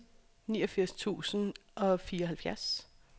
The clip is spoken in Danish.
niogfirs tusind og fireoghalvfjerds